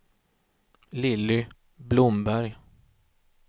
Lilly Blomberg